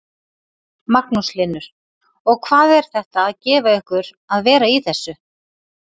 Magnús Hlynur: Og hvað er þetta að gefa ykkur að vera í þessu?